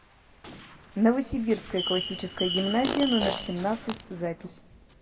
новосибирская классическая гимназия номер семнадцать запись